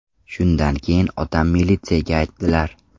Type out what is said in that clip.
Shundan keyin otam militsiyaga aytdilar.